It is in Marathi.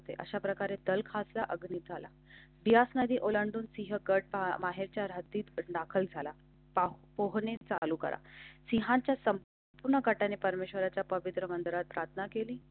अशा प्रकारे तारखांच्या अग्नि झाला. बियास नदी ओलांडून सिंह कडपा हेच्या रात्री दाखल झाला. पोहणे चालू करा. सिंहांच्या संपूर्ण कटाने परमेश्वराच्या पवित्र मंदिरात प्रार्थना केली.